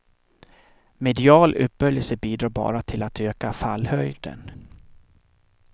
Medial upphöjelse bidrar bara till att öka fallhöjden.